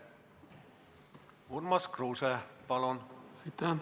Urmas Kruuse, palun!